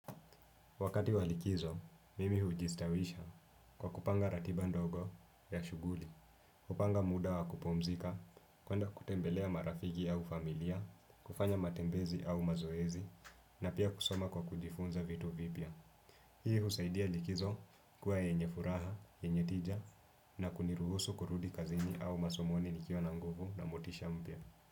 Wakati wa likizo, mimi hujistawisha kwa kupanga ratiba ndogo ya shughuli, kupanga muda wa kupumzika, kuenda kutembelea marafiki au familia, kufanya matembezi au mazoezi, na pia kusoma kwa kujifunza vitu vipya. Hii husaidia likizo kuwa yenye furaha, yenye tija, na kuniruhusu kurudi kazini au masomoni nikiwa na nguvu na motisha mpya.